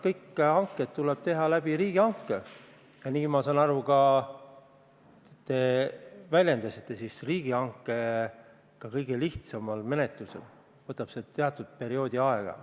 Kõik need hanked tuleb teha riigihanke korras – ma saan aru, et seda te väljendasite – ja riigihange ka kõige lihtsama menetluse korral võtab oma aja.